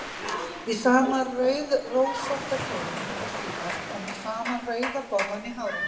Í sama rauðrósótta kjólnum og síðast og með sama rauða borðann í hárinu.